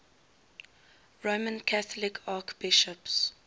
roman catholic archbishops